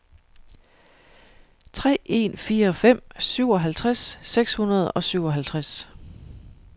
tre en fire fem syvoghalvtreds seks hundrede og syvoghalvtreds